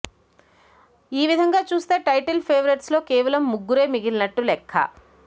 ఈ విధంగా చూస్తే టైటిల్ పేవరేట్స్ లో కేవలం ముగ్గురే మిగిలినట్టు లెక్క